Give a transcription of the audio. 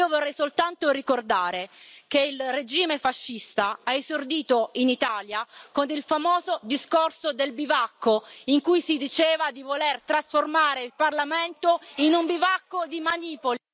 Io vorrei soltanto ricordare che il regime fascista ha esordito in Italia con il famoso discorso del bivacco, in cui si diceva di voler trasformare il Parlamento in un bivacco di manipoli...